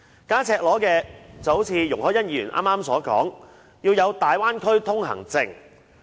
更加赤裸的便有如容海恩議員剛才所說，要發出大灣區通行證。